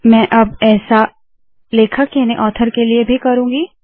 मैं अब ऐसा ही लेखक याने ऑथर के लिए करुँगी